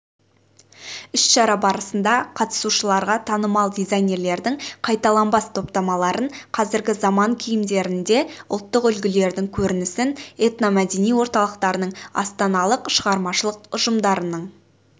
іс-шара барысында қатысушыларға танымал дизайнерлердің қайталанбас топтамаларын қазіргі заман киімдерінде ұлттық үлгілердің көрінісін этномәдени орталықтарының астаналық шығармашылық ұжымдарының